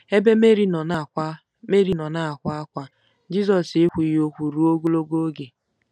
Ebe Meri nọ na-akwa Meri nọ na-akwa ákwá, Jizọs ekwughị okwu ruo ogologo oge.